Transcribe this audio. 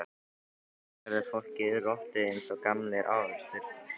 Stundum verður fólk rotið eins og gamlir ávextir, Sunna.